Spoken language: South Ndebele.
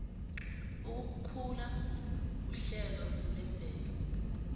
ukukhula kuhlelo lemvelo